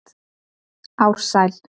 Ársæl